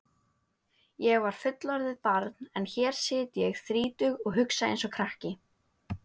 Ég var fullorðið barn en hér sit ég þrítug og hugsa einsog krakki.